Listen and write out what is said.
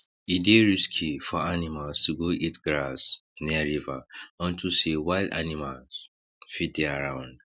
e dey risky for animals to go eat grass near river unto say wild animals fit dey around